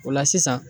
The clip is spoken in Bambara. O la sisan